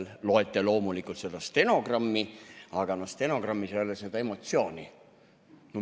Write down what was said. Te loete loomulikult stenogrammi, aga stenogrammis ei ole seda emotsiooni.